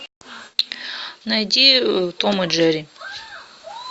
найди том и джерри